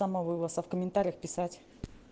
самовывоз а в комментариях писать